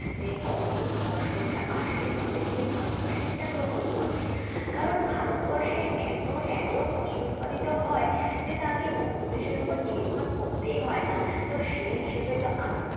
যে কখন ফসলটা আসবে তবে গিয়ে ভারতবাসী সেটা গ্রহণ করবে, কারণ ভারতবর্ষে এত এত ফসল উৎপাদিত হয় যে তাকে অন্য দেশের ওপর নির্ভর করতেই হয় না। তো সেই হিসাবে তো আমি